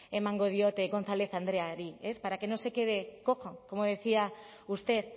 emango diot gonzález andreari para que no se quede cojo como decía usted